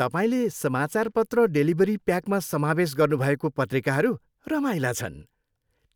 तपाईँले समाचारपत्र डेलिभरी प्याकमा समावेश गर्नुभएको पत्रिकाहरू रमाइला छन्।